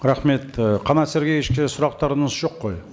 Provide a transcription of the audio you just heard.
рахмет і қанат сергеевичке сұрақтарыңыз жоқ қой